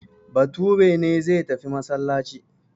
Bature ne zai tafi masallaci.